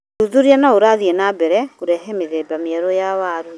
Ũthuthuria no ũrathiĩ na mbere kũrehe mĩthemba mĩerũ ya waru.